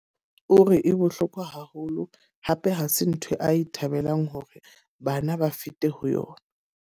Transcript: O re e bohlokwa haholo. Hape ha se ntho a e thabelang hore bana ba fete ho yona.